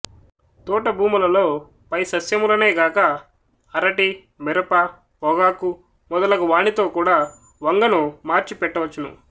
తోటభూములలో పై సస్యములనే కాక అరటి మిరప పొగాకు మొదలగు వానితో కూడా వంగను మార్చి పెట్ట వచ్చును